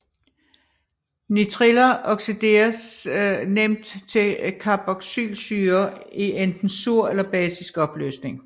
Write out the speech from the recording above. Nitriller oxideres nemt til carboxylsyrer i enten sur eller basisk opløsning